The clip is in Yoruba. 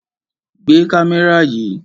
Gbé kámẹ́rà yìí!